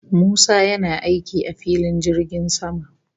Musa yana aiki a filin jirgin sama